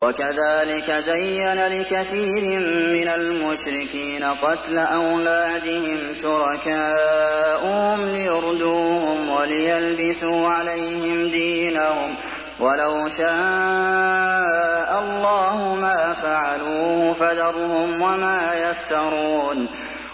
وَكَذَٰلِكَ زَيَّنَ لِكَثِيرٍ مِّنَ الْمُشْرِكِينَ قَتْلَ أَوْلَادِهِمْ شُرَكَاؤُهُمْ لِيُرْدُوهُمْ وَلِيَلْبِسُوا عَلَيْهِمْ دِينَهُمْ ۖ وَلَوْ شَاءَ اللَّهُ مَا فَعَلُوهُ ۖ فَذَرْهُمْ وَمَا يَفْتَرُونَ